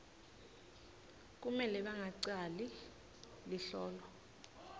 kumele bangaceli luhlolo